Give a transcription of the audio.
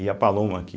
E a Paloma, que...